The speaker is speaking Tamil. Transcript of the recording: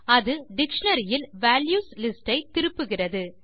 அது டிக்ஷனரி இல் வால்யூஸ் லிஸ்ட் ஐ திருப்புகிறது